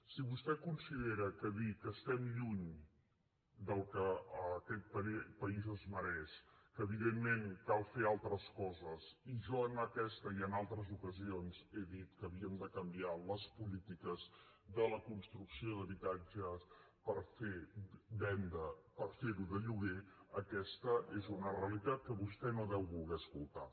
si vostè considera que dir que estem lluny del que aquest país es mereix que evidentment cal fer altres coses i jo en aquesta i en altres ocasions he dit que havíem de canviar les polítiques de la construcció d’habitatges per fer venda per fer ho de lloguer aquesta és una realitat que vostè no deu voler escoltar